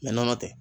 nɔnɔ tɛ